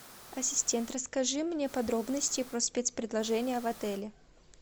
ассистент расскажи мне подробности про спец предложения в отеле